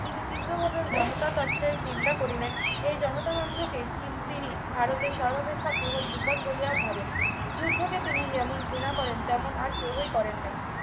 তিনি তীব্রভাবে জনতাতন্ত্রের নিন্দা করিলেন এই জনতাতন্ত্রকে কিন্তু তিনি ভারতের সর্বাপেক্ষা বৃহৎ বিপদ বলিয়া ভাবেন যুদ্ধকে তিনি এমন ঘৃণা করেন এমন আর কেউই করেন নাই